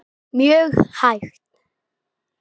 Mjög hægt.